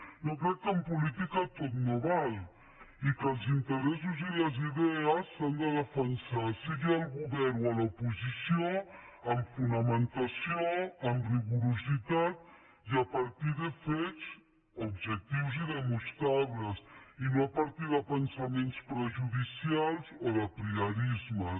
jo crec que en política tot no val i que els interessos i les idees s’han de defensar sigui al govern o a l’oposició amb fonamentació amb rigor i a partir de fets objectius i demostrables i no a partir de pensaments prejudicials o d’apriorismes